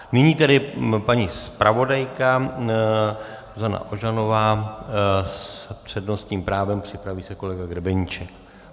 Nyní tedy paní zpravodajka Zuzana Ožanová s přednostním právem, připraví se kolega Grebeníček.